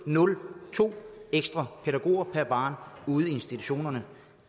nul ekstra pædagog per barn ude i institutionerne